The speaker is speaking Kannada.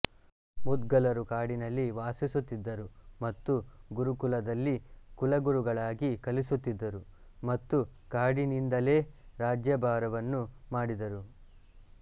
ಮುದ್ಗಲರು ಕಾಡಿನಲ್ಲಿ ವಾಸಿಸುತ್ತಿದ್ದರು ಮತ್ತು ಗುರುಕುಲದಲ್ಲಿ ಕುಲಗುರುಗಳಾಗಿ ಕಲಿಸುತ್ತಿದ್ದರು ಮತ್ತು ಕಾಡಿನಿಂದಲೇ ರಾಜ್ಯಭಾರವನ್ನು ಮಾಡಿದರು